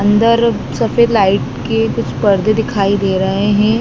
अंदर सफेद लाइट के कुछ पर्दे दिखाई दे रहे है।